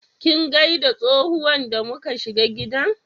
Kin gaida tsohuwan da mu ka shiga gidan?